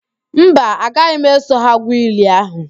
Mba, agaghi m eso ha gwu ili ahụ